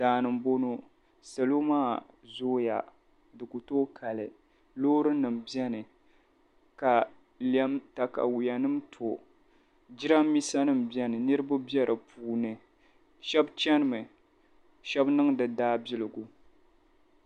daa ni m-bɔŋɔ salo maa zooya di ku tooi kali loorinima beni ka takayuanima to jidambiisanima beni niriba be di puuni shɛba chanimi shɛba niŋdi daabiligu